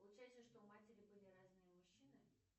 получается что у матери были разные мужчины